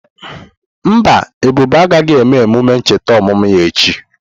Mba, Ebube agaghị eme emume ncheta ọmụmụ ya echi.